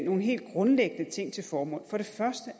nogle helt grundlæggende ting til formål for det første